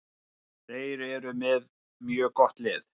Þeir eru með mjög gott lið.